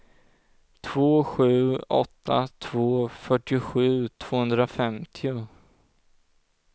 två sju åtta två fyrtiosju tvåhundrafemtio